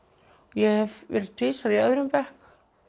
ég hef verið tvisvar í öðrum bekk